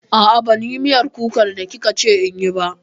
A'a, ban yi miyar kukan da kika ce inyi ba